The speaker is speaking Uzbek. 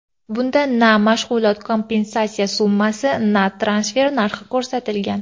Bunda na mashg‘ulot kompensatsiyasi summasi va transfer narxi ko‘rsatilgan.